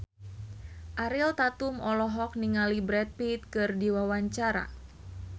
Ariel Tatum olohok ningali Brad Pitt keur diwawancara